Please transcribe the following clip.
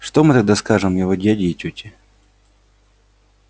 что мы тогда скажем его дяде и тёте